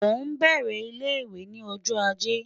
O n bẹrẹ ile-iwe ni ọjọ Aje